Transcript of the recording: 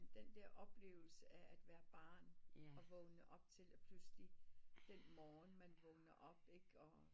Men den der oplevelse af at være barn og vågne op til at pludselig den morgen man vågner op ikke